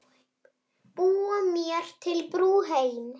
Búa mér til brú heim.